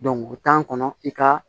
o tan kɔnɔ i ka